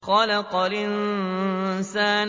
خَلَقَ الْإِنسَانَ